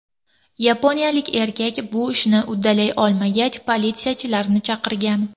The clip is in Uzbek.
Yaponiyalik erkak bu ishni uddalay olmagach, politsiyachilarni chaqirgan.